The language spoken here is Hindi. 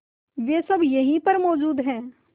वे सब यहीं पर मौजूद है